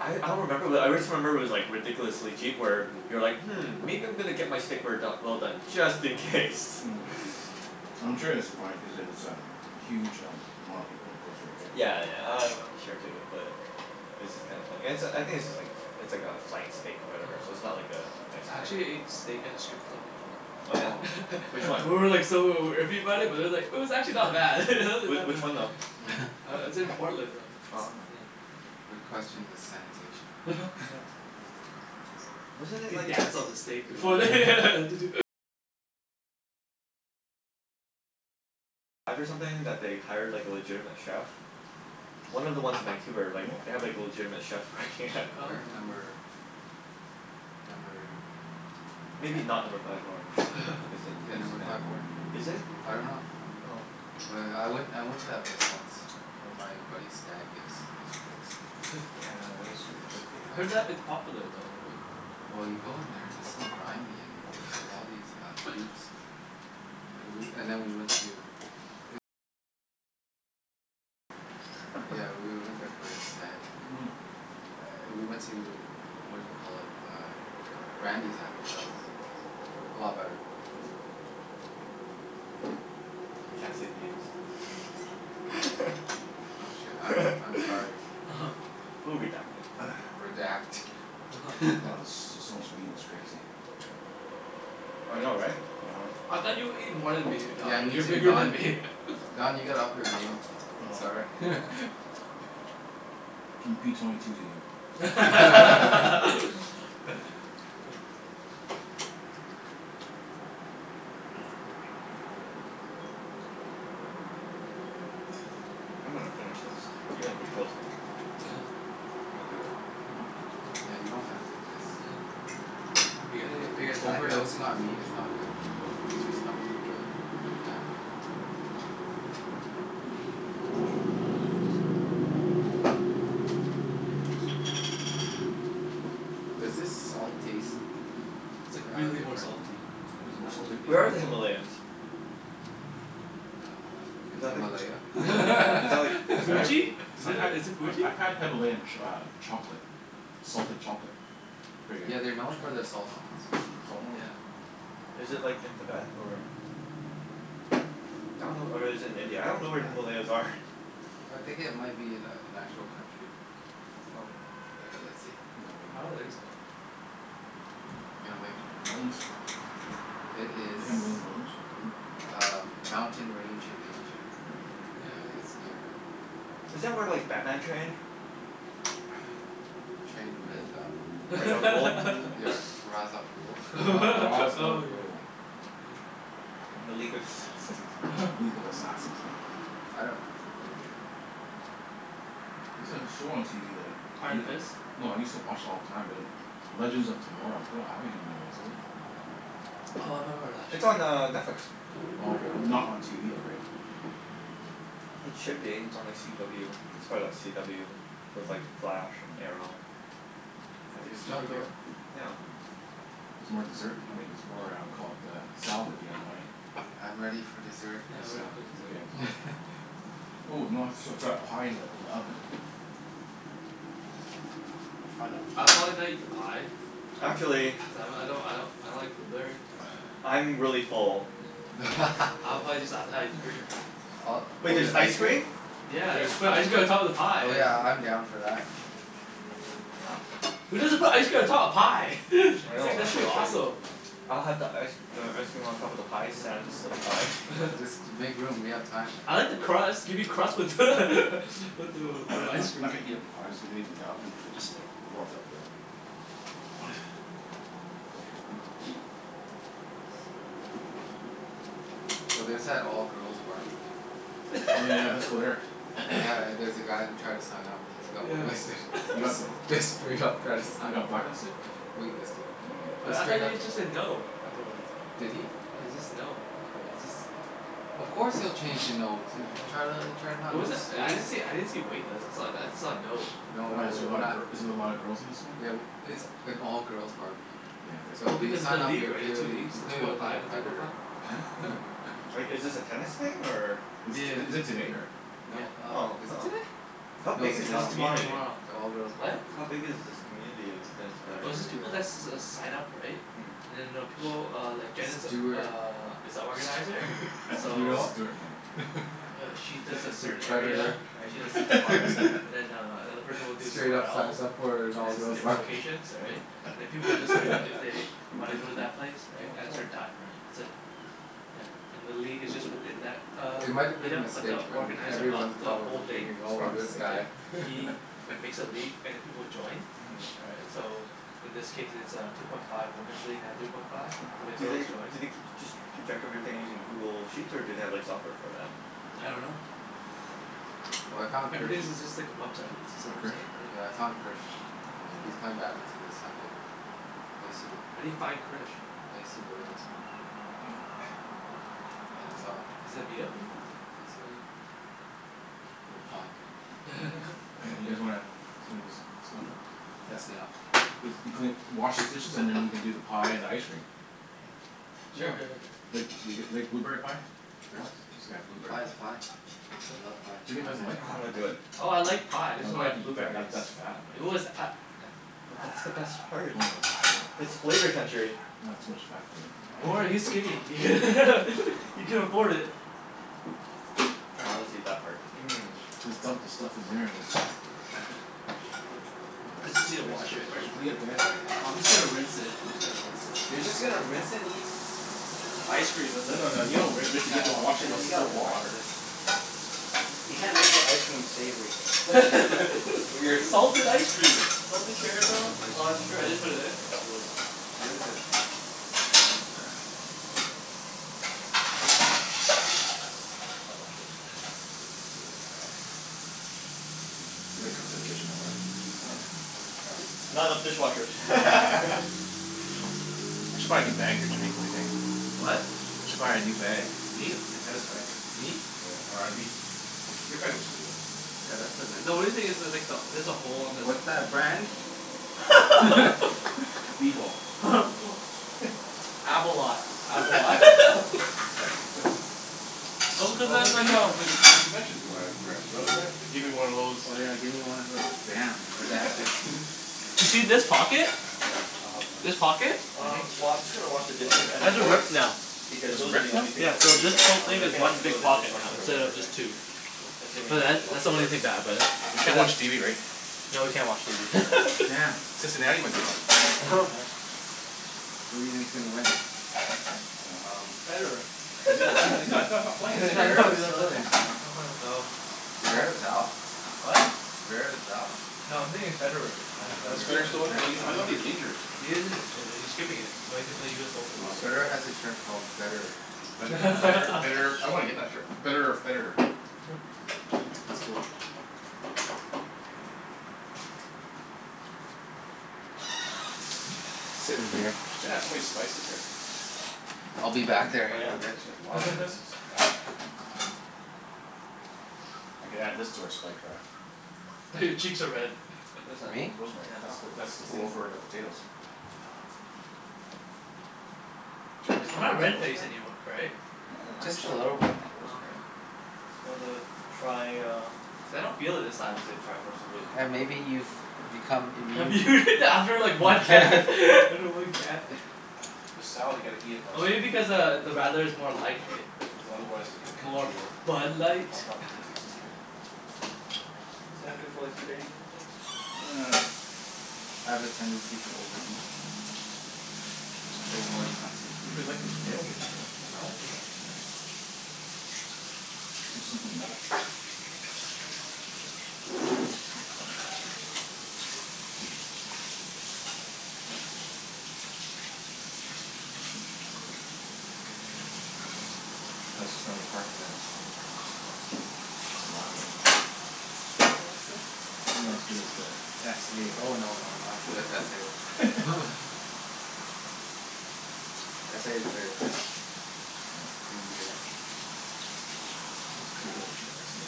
I I don't remember, but I wrist remember it was like ridiculously cheap where Mhm. you're like "Hmm, maybe I'm gonna get my steak rare do- well done just in case." Mm. I'm sure it's fine cuz it it's a huge um amount of people in the coastal area. Yeah, yeah, I I'm sure too but It's just kinda funny. And it's a, I think it's just like it's like a flank steak or whatever, so it's Mm. not like a nice I cut or actually anything. ate steak at a strip club before. Oh yeah? Oh. Which one? And we were like so iffy about it, but it's like it was actually not bad. W- Not which one bad. though? Uh it's in That's Portland though. Oh, huh. It's, yeah. I would Yeah. question the sanitation. Yeah. Wasn't it They like dance on the steak before they Yeah. One of the ones in Vancouver, like, they have Really? like a legitimate chef working at Oh. No. Where? Number number Maybe not Number ten? Five Orange cuz that Yeah, place is Number kinda, Five Orange, right? is it? I dunno. I dunno. Oh. But I went I went to that place once It for my buddy's stag. It was it was gross. Yeah, it would was gross. I heard be. that it's popular though, right? Well you go in there and it's so grimy, and there's like all these uh boobs. Ah woo- and then we went to Yeah, we w- went there for his stag and we went to, what do you call it? Uh Brandi's after. That was that was a lot better. We can't say names. Oh shit, I'm I'm sorry. We'll redact it. Redact. Wow, this is just so much meat it's crazy. Yeah. I know, right? uh-huh. I thought you would eat more than me, Yeah, Don. me You're too bigger than Don. me. Don, you gotta up your game. I'm sorry. Oh. I'm p twenty two to you. Oh. I'm gonna finish this even if it kills me. I'm gonna do it. You don't have to. Yeah, you don't have to. Just You gotta get big as that guy. Overdosing on meat is not good. I- No. it makes your stomach feel really bad. Mm. Does this salt taste It's like uh really more different? salty. Is it more I don- salty? it's Where are more the salty. Himalayans? Uh, Is in that like Himalaya? Is that like I had, Tibet? Fuji? Is I've it had is it I've Fuji? I've had Himalayan ch- uh chocolate. Salted chocolate. Pretty Yeah, good. they're known Oh. for their salt Salt mines. mm. Yeah. Is it like in Tibet, or I dunno or is it in India? I don't know where the Himalayas are. I think it might be an a- an actual country. Oh. Okay, let's see. I don't Himalayan. think so. You don't think so? M- Okay, mountains? let's see. It is The Himalayan Mountains? m- uh mountain range in Asia. Yeah, Yeah, yeah. it's near Mm. Isn't that where like Batman trained? Trained with um I- Ra's al Ghul. Yeah, Ra's al Ghul? Yeah. Ra- Ra's al Oh my god. Ghul. Ah. And the League of Assassins. League of Assassins, right? Yeah. I dunno where he trained. There's a show on TV that y- Iron Fist? no, I used to watch it all the time be like Legends of Tomorrow. They don't have any new ones, do they? Mm. Oh, I remember that It's on uh show. Netflix. Yeah. Oh, okay. Not on TV though, right? Mm. It should be. It's on like CW. It's part of that CW with like The Flash, and Arrow. I think It's it's filmed here. Supergirl? Yeah. It's filmed here. Mhm. There's more dessert, I mean there's more uh caul- uh, salad if you guys want any? I'm ready for dessert. Yeah, I I'm saw. ready for Okay, dessert. dessert. Ooh, you know I srut srut that pie in the in the oven. uh-oh. Find that I'll pie. probably not eat the pie. Huh? Actually Cuz I m- I don't I don't I don't like blueberry. I'm really full. Yeah. I'll probably just have the ice cream. Uh, Wait, or there's just ice ice cream? cream? Yeah. Yes Just put ice cream on top of the pie Oh is yeah, I'm down for that. Yeah, yeah. Who doesn't put ice cream on top of pie? I It's know, like that's that's pretty just crazy. awesome. I'll have the ice uh ice cream on top of the pie Yeah. sans Yeah. the pie. Just to make room. We have time, I right? like Mm. the crust. Gimme crust with with the with the I'm not ice cream. not gonna heat up the pie. Just leave it in the oven for just a little warm it up a bit. Mm. Oh yeah. Make sure So there's that all girls barbecue. Oh yeah, let's go there. Yeah, there's a guy who tried to sign up he's got wait listed. Yeah. He Just got bl- just straight up tried to he sign up got for blacklisted? that. Wait listed. Mm. Wait, Just I thought straight up he just said no afterwards? Did he? Yeah, it's just no, I thought it just Of course he'll change to no, to try to l- try Yeah. not It to lose wasn't, I didn't see, face. I didn't see a wait list. I saw, I saw a no. No, no, Why is That's there a what we're lot I of not gir- heard. is there a lot of girls in this one? Yeah, w- it's an all girls barbecue. Yeah, but So Well, if you because of the sign up league, you're right? The two clearly, leagues. you The two clearly point look like a five and three point five. predator. Huh? Mm. Like, is this a tennis thing, or Is this is is it today, or No, Yeah. uh Oh, is it oh. today? How I don't No, big it's is this No, know. tomorrow. Me tomorrow community? tomorrow. It's an all girls What? barbecue. How big is this Mm. community of tennis Here, I'll players? Oh, show it's you just the people that guy. s- s- s- sign up, right? Mm. And then I know people uh, like Jen is Stewart Stew- uh, is a organizer. Stu- Do you So know Stuart? No. him? uh she does a A certain area. predator. Right? She does Mhm. Central Park. And then uh another person will do Straight somewhere up else. signs up for an And all it's girls different barbecue. locations, all right? uh-huh. And then people will just sign up if they wanna go to that place, right? Oh, As cool. her dime, right. That's it. Yeah. And the league is just within that uh, It might have been a meet-up but mistake, the but Yeah. organizer of everyone's It's the probably probably whole thing thinking, "Oh, a this Mhm. mistake. guy." right? He makes a league and then people will join Mhm. right? So in this case it's a two point five woman's league and a three point five. So the Do girls they, joy do they keep, just keep track of everything using Google Sheets, or do they have like software for that? I dunno. Oh. Oh, I found Krish. Everything's is just like a website. It's You just a find Krish? website, Yeah, I right? found Krish. He's Yeah. on He's there? playing badminton this Sunday. I sue How do you find Krish? I used to go to this one. And I saw him. Yeah. Is that a meet-up or something? Yeah, he's here. Oh. We'll find him. You guys wanna clean this stuff up? Let's clean up. If you clean, wash these dishes and then we can do the pie and ice cream. Yeah. Yeah. Sure sure sure sure. Like th- Yeah. g- like blueberry pie? Sure. It's got a blueberry Pie is pie. pie. I love pie. Jimmy Pie and doesn't like ice pie. I'm gonna cream. do it. Oh, I like pie. I No, just you don't don't have to like eat that. That blueberries. that's fat, It man. was a- i- But that's the best part. No, no that's It's real flavor gross. country. Aw, too much fat for me. Yeah, Don't worry, he's man. skinny. He can afford it. Ah I'll just eat that part. Mmm. Just dump the stuff in there and is Wow s- It's easy to wash thanks it thanks out. for cleaning up guys. Sorry. Oh, I'm just gonna rinse it. I'm just gonna rinse it. You're just gonna rinse and eat Ice cream with No it. no no, you don't ri- rinse it. You have to Oh wash it with man, you gotta soap and wash water. this. You can't make your ice cream savory. That's weird. Salted ice cream! Salted Salted caramel. ice No. Oh, that's cream. true. Can I just put it in? Let's do it. Rinse it. Can't rinse it. I'll wash it. Too many cooks in the kitchen though, uh? Yeah, uh-huh. we're crowded now. Not enough dishwashers. I should buy a new bag here Jimmy. Whaddya think? What? I should buy a new bag. Me t- Me? te- tennis bag. Me? Yeah, or abi- your bag looks pretty good. Yeah, that's a nice The only one. thing is there's like the, there's a hole on this What's that brand? B bowl. Abolat. Abolat. Oh, Oh cuz what then we they m- go but we we c- we mentioned bland brands really, right? Gimme one of those Oh yeah, give me one of those damn, redacted Do you see redacted. this pocket? Sure, I'll help rinse. This pocket? Mhm. Um, well I'm just gonna wash the dishes and the Has a forks rip now. because It's those are the ripped now? only things Yeah, that so we need this right whole now. Okay, thing is Everything else one can go sure. in big the pocket now, dishwasher for Mm. instead later, of right? just two. Sure. Cool. Assuming But the that that's dishwasher the only works. thing bad about it. We It can't didn't watch TV, right? No, we can't watch TV. Oh, damn. Damn. Cincinnati might be on. What the heck? Who do you think's gonna win? Huh? I dunno, um Federer. Is he is he he's not he's not playing, Is is he? I know Zverev he's not still in playing. there? I know. Stat Zverev's out? What? Zverev's out? No, I'm thinking of Federer. I'm Oh, I'm Is s- Federer Federer. I'm still in just there? He's, joking, I you thought know? he's injured? He is Yeah. in- injured. He's skipping it. So Oh, that he can play okay. US Open probably, Federer right? has a shirt called betterer. Bet- better betterer I wanna get that shirt. Betterer or Federer. That's cool. Sit in here. Jen has so many spices here. I'll be back there Oh in yeah? a bit. She has a lot of spices. I could add this to our spike rack. Oh, your cheeks are red. What is that? Me? Rosemary. Yeah. That's the, Oh. that's the thing Cool. for the potatoes. Oh. Jen doesn't I'm not have red-face rosemary? anym- right? Yeah. How could Just she a have not little ro- bit. not Oh, rosemary? okay. Just wanted to try uh Cuz I don't feel it this I time. wanna say the tri-force of wisdom Yeah, maybe but you've become That'd be immune? weird to after like one can after one can. This salad, you gotta eat it when Oh, it's maybe f- because uh, the radler is more light, right? Cuz otherwise it's gonna More congeal. Bud Light? Not not doesn't taste as good. Isn't it good for like two days or something? I have a tendency to overeat. It's so hard not to. You really like those Mm. potatoes, eh Jimmy? I like it though. Yeah. So simple to make. Yeah. How's the Stanley Park uh Lager? Yeah, that's good. Not as good as the s a Oh right? no, no, not as good as s a S a is a very crisp Yeah. clean beer. Yeah, it's pretty good actually. S a.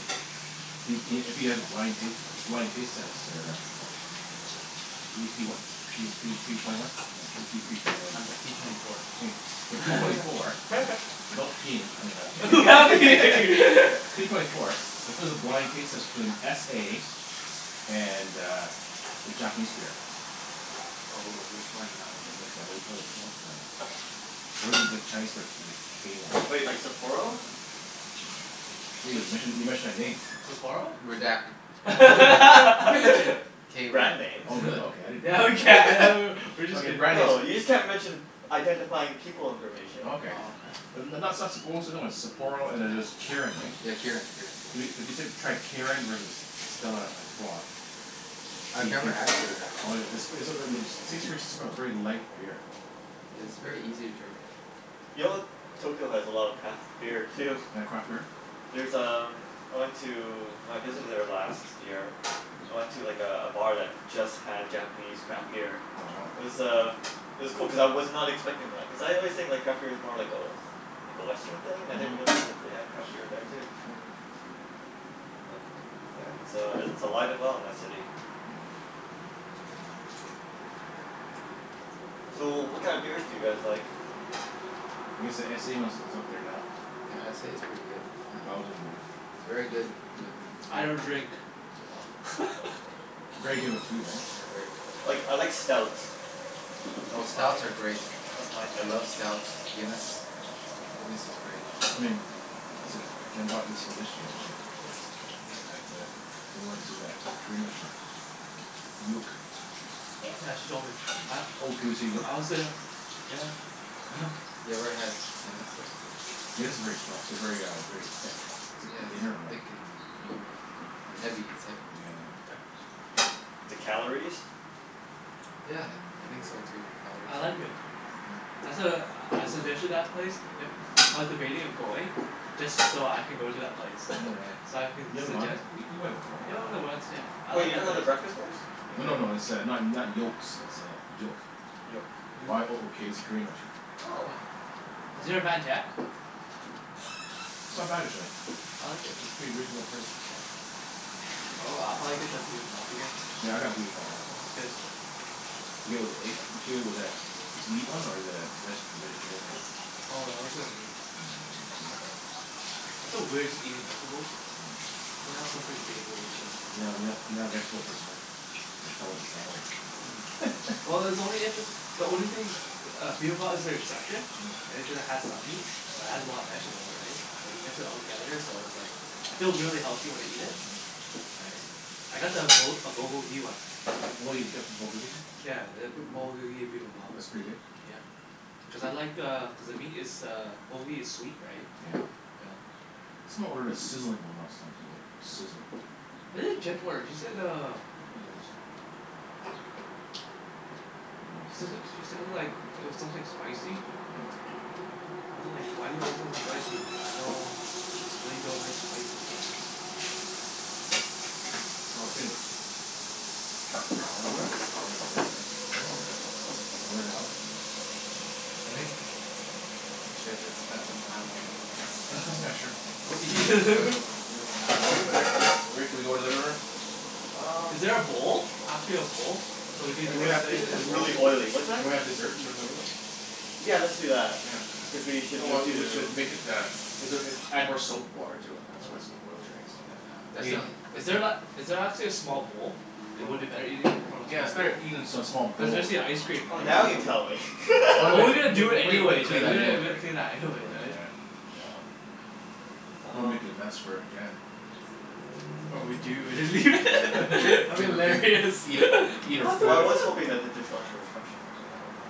Do c- if you had a blind taste blind taste test there uh Are you p what? P oh three p twenty one? No, I just use p twenty one and I'm twen- p twenty four. Hey, so p twenty four without peeing, I mean I c- Without peeing. P twenty four if it was a blind taste test between s a and uh, the Japanese beer Oh oh, which one? Um Like the whaddya call it you call it? Uh Or is it the Chinese beer? The k one. Wait, like Sapporo? Hey, you Which mentioned a, you mentioned a name. Sapporo? Redact- No, you can you can you can mention b- K one. brand names. Oh really? Okay. uh-huh. I didn't Yeah, we can! A know. w- w- we're just Okay, kidding. brand names No, you just a- can't mention identifying people information. Oh, okay. Oh, okay. Yeah N- n- not stuff Sap- but what's the other one? Sapporo and then there's Yeah. Kirin, right? Yeah, Kirin. Kirin's the one. If you if you s- tried Kirin versus Stella Artois I've could never had c- Kirin, Oh actually. yeah, it's seems pretty smooth. Very light beer. Yeah, is very easy to drink. Yo Tokyo has a lot of craft beer too. They got craft beer? There's um, I went to when I visited there last year I went to like a a bar that just had Japanese craft beer. Oh, wow. It was uh, it was cool cuz I was not expecting that. Cuz I always think like craft beer's more like a like a Western thing. I didn't Mhm. realize that they had craft beer there too. Oh. But yeah, it's uh i- it's alive and well in that city. Mm. So, what kind of beers do you guys like? I guess the s a ones is up there now. Yeah, S a's Oh. pretty good. It's a Uh Belgian beer. It's very good with I don't food. drink. With Oh. food. Very good with food, right? Yeah, very good with food. Like, I like stouts. Oh, That's my, stouts are great. that's my I thing. love stouts. Guinness. Guinness is great. I mean This id- Jenn bought this one yesterday actually. Yeah. A- at the we went to that Korean restaurant. Yook. Yook. Yeah, she told me. Yeah. A- Oh, can we say Yook? I wanna say uh Yeah. Oh. You ever had Guinness, though? Guinness if very stro- very uh, very thick. It's Yeah, like dinner it's almost. thick and creamy Mm. and Yeah heavy. It's heavy. yeah yeah. The calories? Yeah, I think so, too. Calories. I like Yook, no. Mm. That's a, I Woah. suggested that place. If I was debating of going just so I can go to that place. Oh yeah. So I can You haven't gone there? suggest W- we went went there, right? Yeah, we went there once, yeah. I Wait, like you're that talking about place. the breakfast place? Like No the no no, it's uh not not Yokes, it's uh, Yook. Yoke. Yook. Y o o k. It's a Korean restaurant. Oh. Yeah. I've Is there a never Van Tech? Oh. It's not bad actually. I like it. It's pretty reasonable priced. Yeah. Oh, I'll probably get the bibimbap again. Yeah, I got the bibimbap last It time. was good. Yeah. Did you get it with the egg? Did you get it with a meat one or the veg- vegetarian one? Oh, I always got a meat. Oh, yeah, did you? Yeah. I feel weird just eating vegetables. Mm. You have Mm. something savory or something. You're not you're not you're not a vegetable person, huh? I could tell with the salad. Mm. Yeah. Well, it's only if it's the only thing the uh, bibimbap is the exception. Mm. Right? Because it has some meat. But it has a lot of vegetables, right? Like, you mix it all together so it's like I feel really healthy when I eat it. Mhm. Right? I got the Bu- a Bulgogi one. Oh, you'd get Yeah, the B- Bulgogi Bibimbap. That's pretty good? Yeah. Cuz I like uh, cuz the meat is uh Bulgogi is sweet, right? Yeah. Yeah. Someone ordered a sizzling one last time. I was like, sizzle. What did Jen order? She said uh I don't know this time. she says it, she said it like it was something spicy? Yeah. Right? I wa- like, why do you order something spicy? I know know you don't like spicy stuff. Mhm. Oh, it's been a hour and Hour? hour and a bit, right? More than an hour. More than an hour? Mm. Yeah. I think we should have spent some time in the living room. Yeah, sure. What, Well w- you let's let's wait Actually for the Rick thing. Rick Rick, can we go to the living room? Um Is there a bowl? Actually a bowl? So we can Can we Everything's, have these are in a just bowl? really oily. What's that? Can we have dessert in your living room? Yeah, let's do that. Yeah. Cuz Yeah. we should Oh well, move it to we should make it the is it uh add more soap water to it, and that's why it's so Oh. oily, right? So Oh yeah. Yeah, Is In th- definitely. is Let's there la- see is there actually a small bowl? It Oh. would be better eating from a Yeah, it's small bowl. better eating a s- small Cuz bowl. especially ice cream, Oh, right? now you tell me. Well we Well, we're gonna do we it we would have anyways, right? cleaned We that gotta anyways, we gotta right? clean that Right, anyways, right? yeah. Yeah. Don't wanna make Um a mess for Jen. Or we do and then Yeah, lea- yeah. that'd be Leave a big hilarious. Eat her eat her What the Well, I fuck? food. was hoping that the dishwasher was functional but I don't know.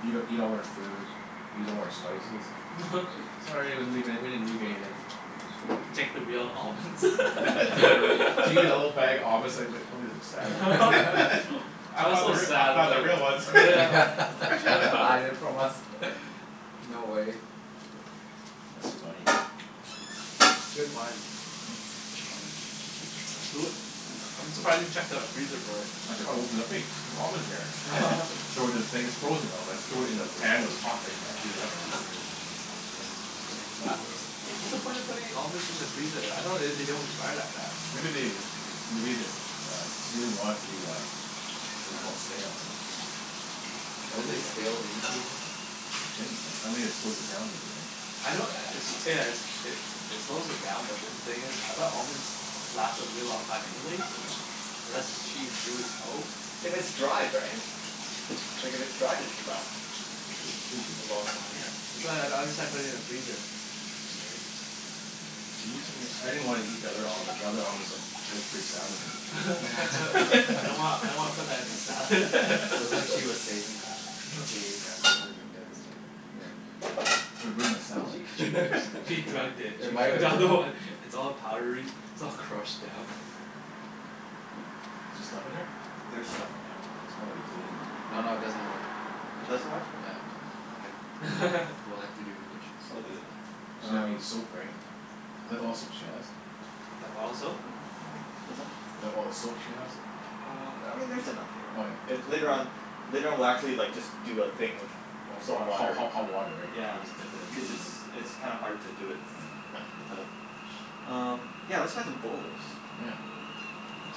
Eat eat all her food. Use all her spices. Sorry, we didn't leave any we didn't leave you anything. Take the real almonds. Yeah right. She gets a little bag of almonds it's like it's like probably has a sad look on I I was found the so r- I sad found about the real ones. Yeah. She had to hide it from us. No way. That's funny. Yeah. Good find. Good find. Yeah, who u- I I'm surprised you checked the freezer for it. I ch- I opened it up. Hey, there's almonds in here. Throw it in the thing it's frozen though, that's throw it in the pan when it's hot, right? Just Oh heat it yeah. up. U- what's the point of putting almonds in the freezer? I thought they d- don't expire that fast. Maybe they th- they made this uh, she doesn't want it to be uh whaddya call it? Stale, right? Don't Don't they they Taste stale in the freezer? They shouldn't, right? I mean it slows it down maybe, right? I know i- it's yeah it's it it slows it down but then the thing is, I thought almonds lasted a really long time anyways? Yeah. Unless she eats really slow? If it's Mm. dried, right? Like, if it's dried it should last Sh- should be. a long time. Yeah, that's why I I don't understand putting it in the freezer. Right? I used some of your, I didn't wanna eat the other almonds, the other almonds like looked pretty sad looking. I don't wanna, I don't wanna put that in the salad. It looked like she was saving that. If we ate that it would have been devastating. Yeah. It would've ruined my She she salad. she drugged it. It She might drugged have, all the yeah. one. It's all powdery. It's all crushed down. Is there stuff in Hmm, there? there's stuff in there. It's probably clean. No, no it doesn't work. I It checked. doesn't work? Yeah, I checked. Okay. We'll have to do the dishes. We'll do It's it. fine. She doesn't have any Um soap, right? Is that the all the soap she has? That bottle soap? Yeah. What's that? Is that all the soap she has? Um, I mean there's enough here. Oh yeah I- Oh later yeah. on, later on we'll actually like just do a thing of Of wa- soap ho- water. ho- hot water, right? Yeah. We'll just Yeah. dip it in, we'll Cuz leave it's it it's kinda hard to do it Yeah. without. Um, yeah, let's find some bowls. Yeah.